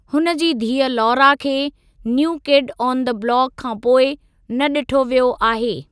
हुन जी धीअ लौरा खे 'new kid on the block' खां पोइ न ॾिठो वियो आहे।